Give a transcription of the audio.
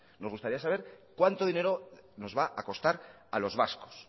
nos gustaría saber cuánto dinero nos va a costar a los vascos